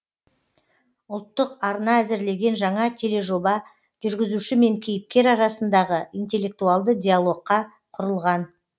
ұлттық арна әзірлеген жаңа тележоба жүргізуші мен кейіпкер арасындағы интеллектуалды диалогқа құрылған